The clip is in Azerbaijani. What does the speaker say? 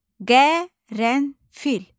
Qərənfil.